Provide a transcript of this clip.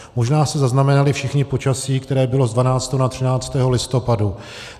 Možná jste zaznamenali všichni počasí, které bylo z 12. na 13. listopadu.